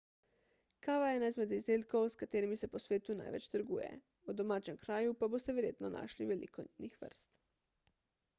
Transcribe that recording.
kava je ena izmed izdelkov s katerim se po svetu največ trguje v domačem kraju pa boste verjetno našli veliko njenih vrst